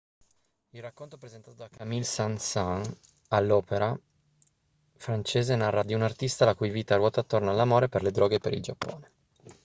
il racconto presentato da camille saint-saens all'opéra francese narra di un artista la cui vita ruota attorno all'amore per le droghe e per il giappone